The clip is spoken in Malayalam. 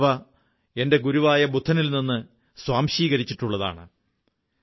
ഞാനവ എന്റെ ഗുരുവായ ബുദ്ധനിൽ നിന്ന് സ്വാംശീകരിച്ചിട്ടുള്ളതാണ്